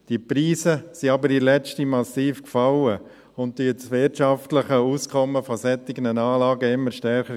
Diese Preise sind aber in letzter Zeit massiv gefallen und gefährden das wirtschaftliche Auskommen solcher Anlagen immer stärker.